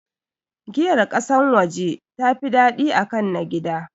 Giyar ƙasan waje tafi daɗi akan na gida